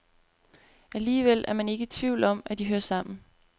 Alligevel er man ikke i tvivl om, at de hører sammen.